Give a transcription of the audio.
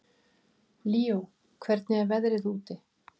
Líó, hvernig er veðrið úti?